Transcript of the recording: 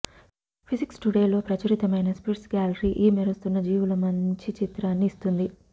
physics Today లో ప్రచురితమైన sprites gallery ఈ మెరుస్తున్న జీవుల మంచి చిత్రాన్ని ఇస్తుంది